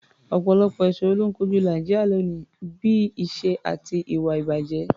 Ọ̀pọ̀lọpọ̀ ìṣòro ló ń kojú Nàìjíríà lónìí, bí i ìṣẹ́ àti ìwà-ìbàjẹ́.